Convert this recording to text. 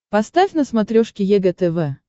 поставь на смотрешке егэ тв